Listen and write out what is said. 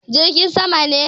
Jirgin sama ne.